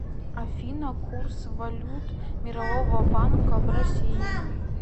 афина курс валют мирового банка в россии